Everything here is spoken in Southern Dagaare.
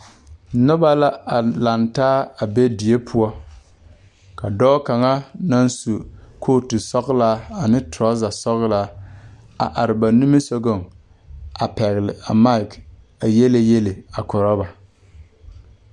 Noba la laŋtaa be die pʋɔ. Ka dɔɔ kaŋ naŋ su kootu sɔglaa ane tɔrɔzɛ sɔglaa a are ba nimisɔgɔŋ kyɛ pɛgle maaki a yiele yiele a korɔ ba.